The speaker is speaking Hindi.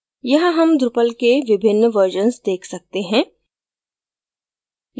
यहाँ हम drupal के विभिन्न versions देख सकते हैं